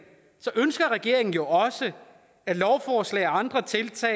ønsker regeringen jo også at lovforslag og andre tiltag